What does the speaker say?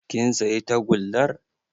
Kin sayi tagullar